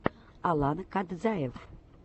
алан кадзаев